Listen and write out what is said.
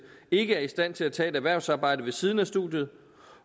ikke er i stand til at tage et erhvervsarbejde ved siden af studiet